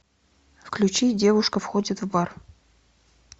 включи девушка входит в бар